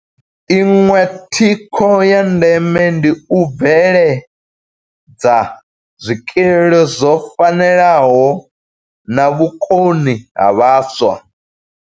Iṅwe thikho ya ndeme ndi u bveledza zwikili zwo fanelaho na vhukoni ha vhaswa.